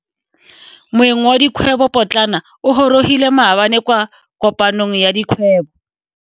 Moeng wa dikgwebo potlana o gorogile maabane kwa kopanong ya dikgwebo.